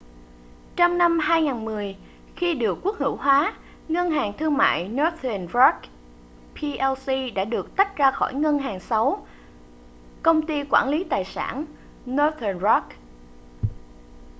trong năm 2010 khi được quốc hữu hóa ngân hàng thương mại northern rock plc đã được tách ra khỏi ‘ngân hàng xấu’ công ty quản lý tài sản northern rock